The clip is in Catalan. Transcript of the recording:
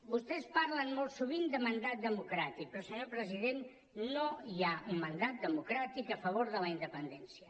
vostès parlen molt sovint de mandat democràtic però senyor president no hi ha un mandat democràtic a favor de la independència